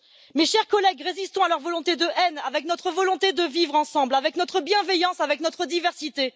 Mes chers collègues, résistons à leur volonté de haine avec notre volonté de vivre ensemble, avec notre bienveillance, avec notre diversité.